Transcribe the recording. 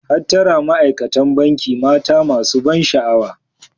Hattara Ma'aikatan Banki mata masu ban sha'awa.